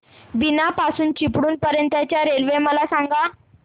बीना पासून चिपळूण पर्यंत च्या रेल्वे मला सांगा